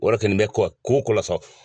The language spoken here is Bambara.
O yɛrɛ kɛlen bɛ ko wa ko o ko la sa.